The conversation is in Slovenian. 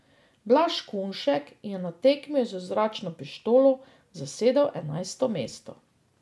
Blaž Kunšek je na tekmi z zračno pištolo zasedel enajsto mesto.